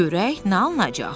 Görək nə alınacaq?